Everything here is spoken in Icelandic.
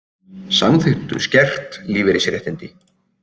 Samþykktu skert lífeyrisréttindi